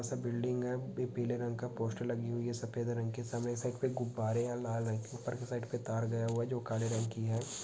--सा बिल्डिंग है| पी-पीले रंग का पोस्टर लगी हुई है| सफेद रंग की सामने साइड मे गुब्बारे है लाल रंग की| ऊपर के साइड मे तार गया हुआ जो काले रंग की है।